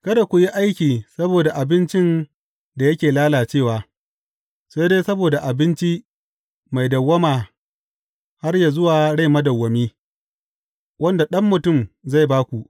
Kada ku yi aiki saboda abincin da yake lalacewa, sai dai saboda abinci mai dawwama har yă zuwa rai madawwami, wanda Ɗan Mutum zai ba ku.